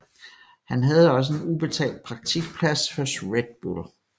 Han havde også en ubetalt praktikplads hos Red Bull